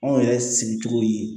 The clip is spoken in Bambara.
Anw yɛrɛ sigicogo ye